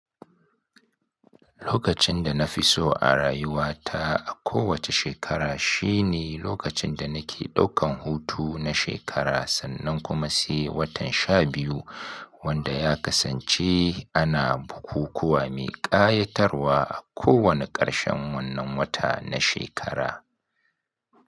Lokacin da nafi so a rayuwa ta a kowacce shekara shine lokacin da nake ɗaukan hutu na shekara sannan kuma sai watan sha biyu wanda ya kasance ana bukukuwa mai ƙayatarwa a kowane ƙarshen wannan wata na shekara.